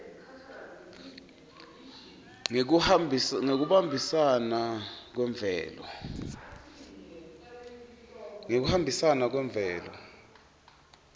ngekuhambisana kwemvelo